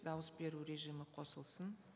дауыс беру режимі қосылсын